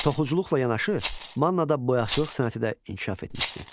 Toxuculuqla yanaşı, Mannada boyaçılıq sənəti də inkişaf etmişdi.